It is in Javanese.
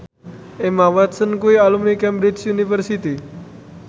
Emma Watson kuwi alumni Cambridge University